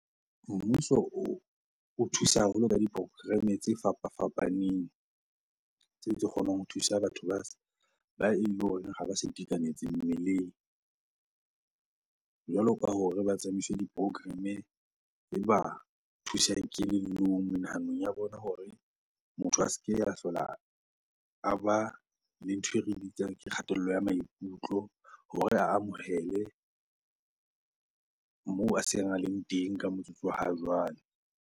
Mmuso o thusa haholo ka di-program-e tse fapafapaneng tse kgonang ho thusa batho ba ba eleng hore ha ba sa itekanetse mmeleng. Jwalo ka hore ba tsamaise di-program e ba thusang kelellong, menahano ya bona hore motho a se ke a hlola a ba le ntho e re bitsang ke kgatello ya maikutlo hore a amohele moo a seng a leng teng ka motsotso wa ha jwale.